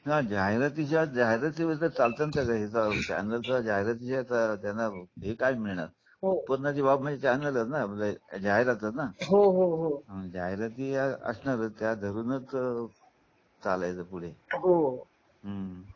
हा जाहिरातीच्या जाहिरातीमध्ये not clearजाहिरातीच्या असणारच त्या धरूनच चलायच पुढे हम्म